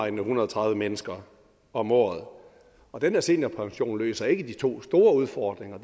en hundrede og tredive mennesker om året og den her seniorpension løser ikke de to store udfordringer